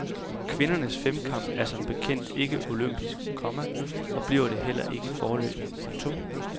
Kvindernes femkamp er som bekendt ikke olympisk, komma og bliver det heller ikke foreløbig. punktum